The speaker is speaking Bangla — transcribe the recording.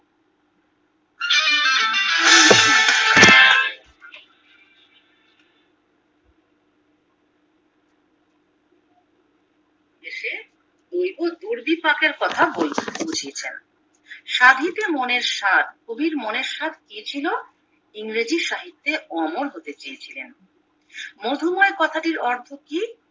দৈব দুর্ভিপাকের কথা বলতে কবি বুঝিয়েছেন সাধিতে মনের সাধ কবির মনের স্বাদ কি ছিল ইংরেজি সাহিত্যে অমর হতে চেয়েছিলেন। মধুময় কথাটির অর্থ কি